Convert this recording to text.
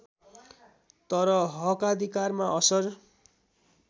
तर हकाधिकारमा असर